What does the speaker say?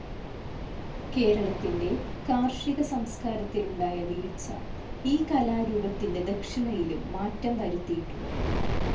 കേരളത്തിന്റെ കാർഷിക സംസ്കാരത്തിലുണ്ടായ വീഴ്ച ഈ കലാരൂപത്തിന്റെ ദക്ഷിണയിലും മാറ്റം വരുത്തിയിട്ടുണ്ട്.